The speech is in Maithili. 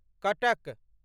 कटक